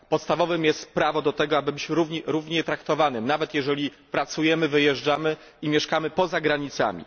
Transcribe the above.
Podstawowym prawem jest prawo do tego, aby być równie traktowanym, nawet jeżeli pracujemy i wyjeżdżamy i mieszkamy poza granicami.